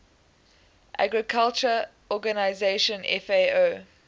agriculture organization fao